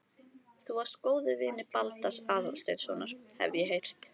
Þú varst góður vinur Baldurs Aðalsteinssonar, hef ég heyrt